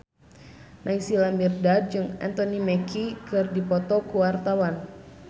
Naysila Mirdad jeung Anthony Mackie keur dipoto ku wartawan